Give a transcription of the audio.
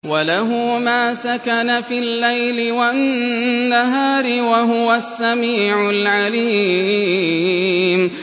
۞ وَلَهُ مَا سَكَنَ فِي اللَّيْلِ وَالنَّهَارِ ۚ وَهُوَ السَّمِيعُ الْعَلِيمُ